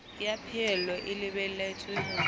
ya phahello e lebelletswe ho